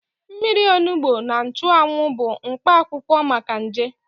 Mmiri onugbo na nchụanwụ bụ mkpa akwụkwọ maka nje.